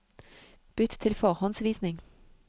Bytt til forhåndsvisning